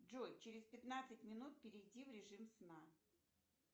джой через пятнадцать минут перейди в режим сна